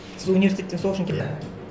сіз университеттен сол ушін иә